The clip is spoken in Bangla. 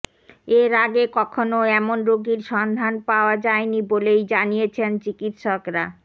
এর আগে কখনও এমন রোগীর সন্ধান পাওয়া যায়নি বলেই জানিয়েছেন চিকিৎসকরা